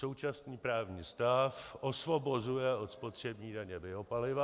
Současný právní stav osvobozuje od spotřební daně biopaliva.